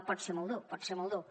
pot ser molt dur pot ser molt dur